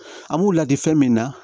An b'u ladi fɛn min na